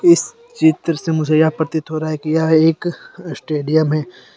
इस चित्र से मुझे यह प्रतीत हो रहा है की यह एक स्टेडियम है।